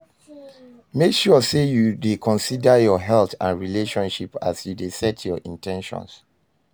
Make sure say you de consider your health and relationship as you de set your in ten tions